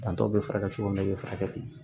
Dantɔ bɛ furakɛ cogo min na u bɛ furakɛ ten